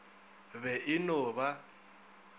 be e e no ba